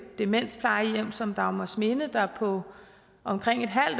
demensplejehjem som dagmarsminde der på omkring et halvt